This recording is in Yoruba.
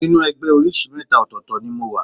Inú ẹgbẹ́ oríṣìí mẹ́ta ọ̀tọ̀ọ̀tọ̀ ni mo wà